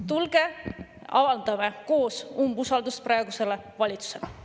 Tulge, avaldame koos umbusaldust praegusele valitsusele.